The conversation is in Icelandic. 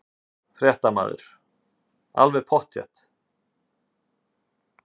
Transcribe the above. Fréttamaður: Alveg pottþétt?